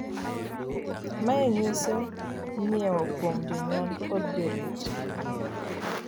maye nyiso nyiewo kuom jonyuol kod jorit